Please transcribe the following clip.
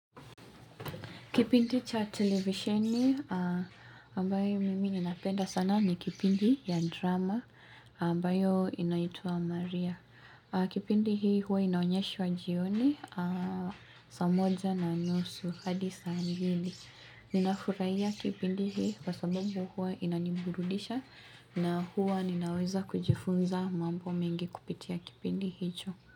Kipindi cha televisheni ambayo mimi ninapenda sana ni kipindi ya drama ambayo inaitua Maria. Kipindi hii huwa inaonyesha wa jioni sa moza na nosu hadisa angili. Nina huraia kipindi hii kwa sababu huwa inanimburudisha na huwa ninaweza kujifunza mambo mengi kupitia kipindi hicho.